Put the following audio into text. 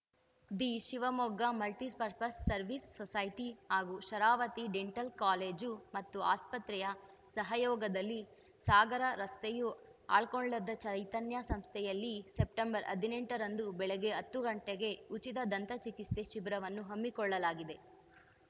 the Shivamogga multipurpose service society ಹಾಗೂ Sharavathi dental college ಮತ್ತು ಆಸ್ಪತ್ರೆಯ ಸಹಯೋಗದಲ್ಲಿ ಸಾಗರ ರಸ್ತೆಯ ಆಳ್ಕೋಳದ ಚೈತನ್ಯ ಸಂಸ್ಥೆಯಲ್ಲಿ ಸೆಪ್ಟೆಂಬರ್ ಹದಿನೆಂಟರಂದು ಬೆಳಗ್ಗೆ ಹತ್ತು ಗಂಟೆಗೆ ಉಚಿತ ದಂತ ಚಿಕಿತ್ಸೆ ಶಿಬಿರವನ್ನು ಹಮ್ಮಿಕೊಳ್ಳಲಾಗಿದೆ